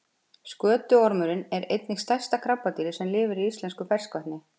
Skötuormurinn er einnig stærsta krabbadýrið sem lifir í íslensku ferskvatni.